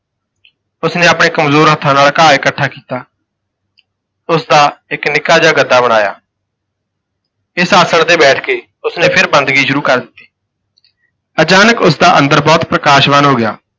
ਉਸ ਨੇ ਆਪਣੇ ਕਮਜ਼ੋਰ ਹੱਥਾਂ ਨਾਲ ਘਾਹ ਇਕੱਠਾ ਕੀਤਾ ਤੇ ਉਸ ਦਾ ਇਕ ਨਿੱਕਾ ਜਿਹਾ ਗੱਦਾ ਬਣਾਇਆ ਇਸ ਆਸਣ ਤੇ ਬੈਠ ਕੇ ਉਸ ਨੇ ਫਿਰ ਬੰਦਗੀ ਸ਼ੁਰੂ ਕਰ ਦਿੱਤੀ, ਅਚਾਨਕ ਉਸ ਦਾ ਅੰਦਰ ਬਹੁਤ ਪ੍ਰਕਾਸ਼ਵਾਨ ਹੋ ਗਿਆ।